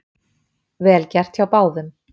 Vel gert hjá báðum